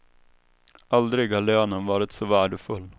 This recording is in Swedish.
Aldrig har lönen varit så värdefull.